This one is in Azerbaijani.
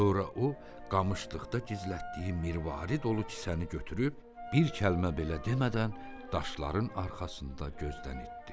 Sonra o qamışlıqda gizlətdiyi mirvar dolu kisəni götürüb bir kəlmə belə demədən daşların arxasında gözdən itdi.